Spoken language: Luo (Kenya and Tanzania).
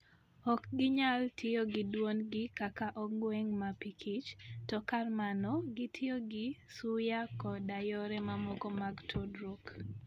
Ok ginyal tiyo gi dwondgi kaka ong'weng' mapikich, to kar mano, gitiyo gi suya koda yore mamoko mag tudruok.